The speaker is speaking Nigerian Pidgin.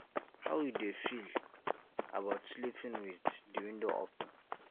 how you dey feel about sleeping with di window open